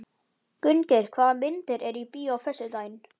Gunngeir, hvaða myndir eru í bíó á föstudaginn?